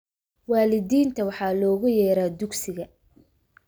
Waalidiinta waxaa loogu yeeraa dugsiga